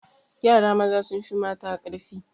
Yara maza sun fi mata ƙarfi